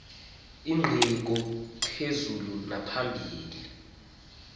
ingqiqo yenkqubela phambili